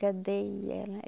Cadê ela?